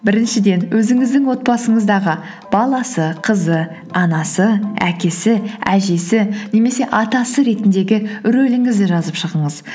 біріншіден өзіңіздің отбасыңыздағы баласы қызы анасы әкесі әжесі немесе атасы ретіндегі рөліңізді жазып шығыңыз